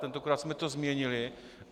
Tentokrát jsme to změnili.